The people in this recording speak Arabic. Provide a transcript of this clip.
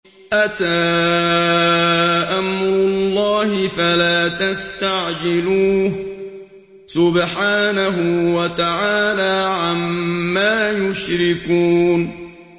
أَتَىٰ أَمْرُ اللَّهِ فَلَا تَسْتَعْجِلُوهُ ۚ سُبْحَانَهُ وَتَعَالَىٰ عَمَّا يُشْرِكُونَ